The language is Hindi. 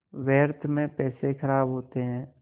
व्यर्थ में पैसे ख़राब होते हैं